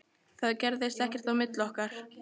Það gerðist ekkert á milli okkar.